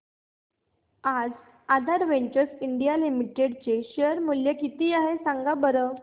आज Aadhaar ventures India limited चे share चे मूल्य किती आहे सांगा बरं